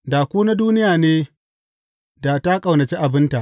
Da ku na duniya ne, da ta ƙaunaci abinta.